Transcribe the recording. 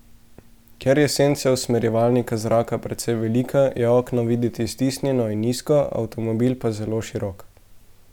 Ker je senca usmerjevalnika zraka precej velika, je okno videti stisnjeno in nizko, avtomobil pa zelo širok.